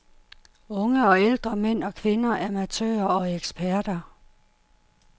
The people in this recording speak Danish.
Unge og ældre, mænd og kvinder, amatører og eksperter.